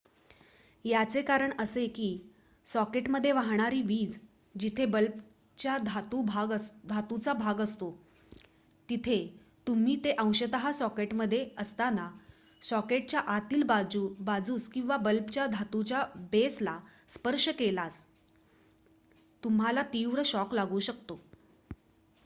याचे कारण असे की सॉकेटमध्ये वाहणारी वीज जिथे बल्बच्या धातूचा भाग असतो तिथे तुम्ही ते अंशतः सॉकेटमध्ये असताना सॉकेटच्या आतील बाजूस किंवा बल्बच्या धातूच्या बेसला स्पर्श केल्यास तुम्हाला तीव्र शॉक लागू शकतो